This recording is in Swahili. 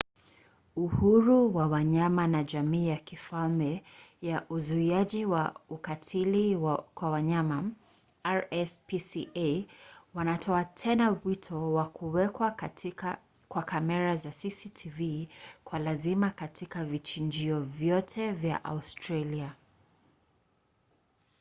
uhuru wa wanyama na jamii ya kifalme ya uzuiaji wa ukatili kwa wanyama rspca wanatoa tena wito wa kuwekwa kwa kamera za cctv kwa lazima katika vichinjio vyote vya australia